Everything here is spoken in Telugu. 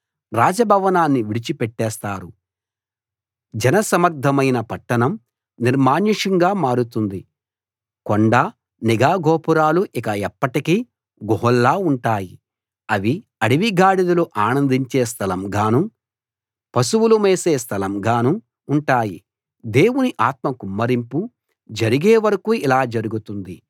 రాజ భవనాన్ని విడిచి పెట్టేస్తారు జనసమ్మర్దమైన పట్టణం నిర్మానుష్యంగా మారుతుంది కొండ నిఘా గోపురాలు ఇక ఎప్పటికీ గుహల్లా ఉంటాయి అవి అడవి గాడిదలు ఆనందించే స్థలంగానూ పశువులు మేసే స్థలంగానూ ఉంటాయి దేవుని ఆత్మ కుమ్మరింపు జరిగే వరకూ ఇలా జరుగుతుంది